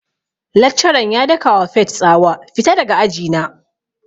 Laccaran ya daka wa Faith tsawa 'Fita daga aji na'!